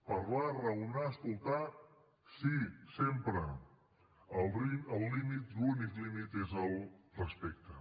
parlar raonar escoltar sí sempre el límit l’únic límit és el respecte